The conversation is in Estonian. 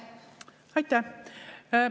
Aitäh!